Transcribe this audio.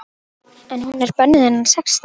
En hún er bönnuð innan sextán!